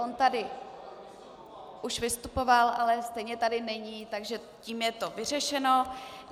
On tady už vystupoval, ale stejně tady není, takže tím je to vyřešeno.